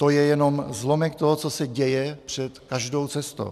To je jenom zlomek toho, co se děje před každou cestou.